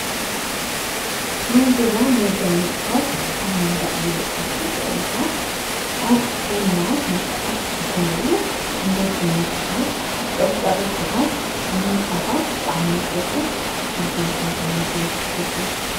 ናይ ገዛ መጋየፅታት ኣብ መንድቕ ዝልጠፉ ስእልታት ናባና ስነሥርዓት ግበሩ፡፡ መጋየ ፅታት ቕርፃ ቕርፅታት ምንፃፋት ብጣዕሚ እየ ዝፈቱ፡፡ ስኹም ከ ታይ ታይ መጋየፅታት ትፈትው?